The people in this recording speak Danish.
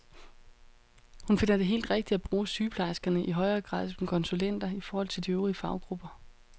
Hun finder det helt rigtigt at bruge sygeplejerskerne i højere grad som konsulenter i forhold til de øvrige faggrupper.